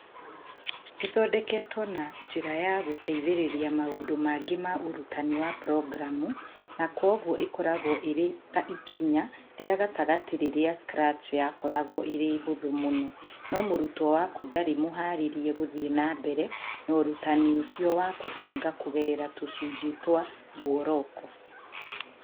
Ĩthondeketwo na njĩra ya gũteithĩrĩria maũndũ mangĩ ma ũrutani wa programu, na kwoguo ĩkoragwo ĩrĩ ta ikinya rĩa gatagatĩ rĩrĩa Scratch yakoragwo ĩrĩ hũthũ mũno, no mũrutwo waku ndarĩ mũharĩrie gũthiĩ na mbere na ũrutani ũcio wa kũbanga kũgerera tũcunjĩ twa mburoko